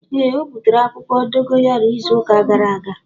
Ee o butere akwukwo dogayaro izu uka gara aga.